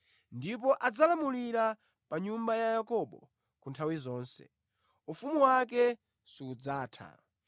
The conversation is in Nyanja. ndipo adzalamulira pa nyumba ya Yakobo ku nthawi zonse; ufumu wake sudzatha.”